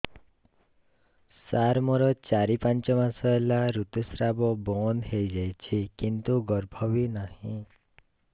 ସାର ମୋର ଚାରି ପାଞ୍ଚ ମାସ ହେଲା ଋତୁସ୍ରାବ ବନ୍ଦ ହେଇଯାଇଛି କିନ୍ତୁ ଗର୍ଭ ବି ନାହିଁ